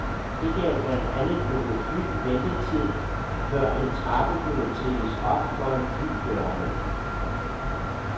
Det gav blandt andet nogle fly ventetid, før en trappe kunne trilles op foran flydørene.